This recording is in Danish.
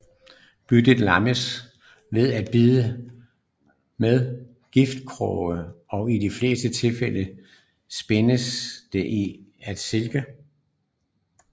Byttet lammes ved et bid med giftkrogene og i de fleste tilfælde spindes det ind i silke